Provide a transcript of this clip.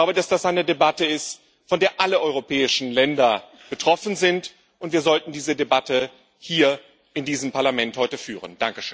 Ich glaube, dass das eine Debatte ist, von der alle europäischen Länder betroffen sind, und wir sollten diese Debatte heute hier in diesem Parlament führen.